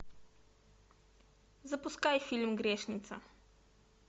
запускай фильм грешница